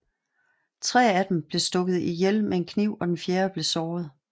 Tre af dem blev stukket ihjel med en kniv og den fjerde blev såret